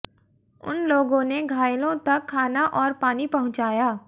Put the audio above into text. उन लोगों ने घायलों तक खाना और पानी पहुंचाया